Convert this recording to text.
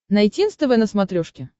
найти нств на смотрешке